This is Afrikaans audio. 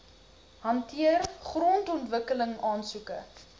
hanteer grondontwikkeling aansoeke